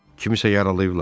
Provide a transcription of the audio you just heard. Kimisə yaralayıblar?